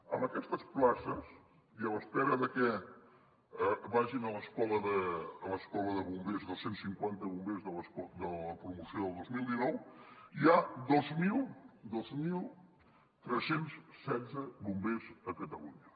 amb aquestes places i a l’espera de que vagin a l’escola de bombers dos cents i cinquanta bombers de la promoció del dos mil dinou hi ha dos mil tres cents i setze bombers a catalunya